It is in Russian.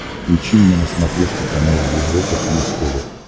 включи мне на смотрешке канал европа плюс тв